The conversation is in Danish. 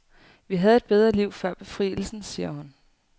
Vi havde et bedre liv før befrielsen, siger hun.